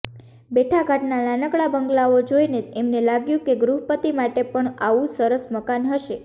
બેઠા ઘાટના નાનકડા બંગલાઓ જોઈને એમને લાગ્યું કે ગૃહપતિ માટે પણ આવું સરસ મકાન હશે